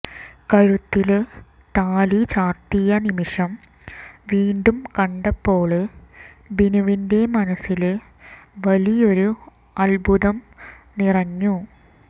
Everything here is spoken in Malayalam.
കഴുത്തില് താലി ചാര്ത്തിയ നിമിഷം വീണ്ടും കണ്ടപ്പോള് ബിനുവിന്റെ മനസ്സില് വലിയൊരു അത്ഭുതം നിറഞ്ഞു